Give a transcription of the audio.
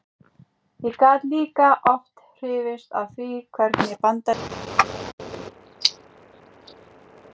Ég gat líka oft hrifist af því hvernig bandarískir menntamenn töluðu um sín stjórnvöld.